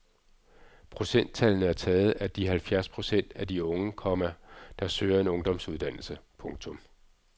Procenttallene er taget af de halvfjerds procent af de unge, komma der søger en ungdomsuddannelse. punktum